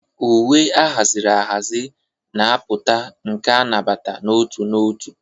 Uwe ahaziri ahazi na-apụta, nke a nabata n'otu n'otu.